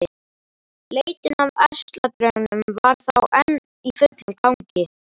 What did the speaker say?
Leitin að ærsladraugnum var þá enn í fullum gangi!